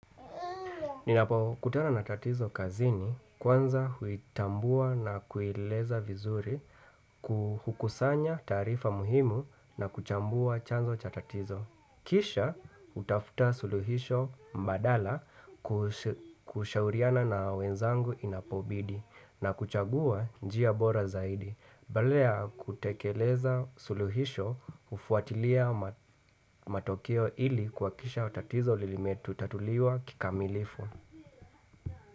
Ninapo kutana na tatizo kazini kwanza huitambua na kuieleza vizuri ku hukusanya taarifa muhimu na kuchambua chanzo cha tatizo. Kisha hutafuta suluhisho mbadala kushauriana na wenzangu inapobidhi na kuchagua njia bora zaidi. Badala kutekeleza suluhisho hufuatilia matokeo ili kuhakikisha tatizo limetatuliwa kikamilifu.